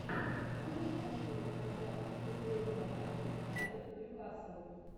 можешь найти мне трансляцию футбольного матча юнайтед ньюкасл